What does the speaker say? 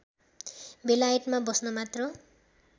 बेलायतमा बस्न मात्र